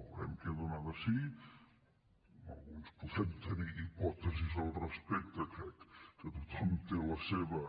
veurem què dóna de si alguns podem tenir hipòtesis al respecte que crec que tothom té la seva